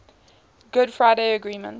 good friday agreement